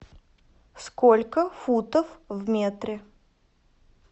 сколько футов в метре